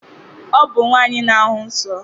Ọ bụ nwaanyị na-ahụ nsọ.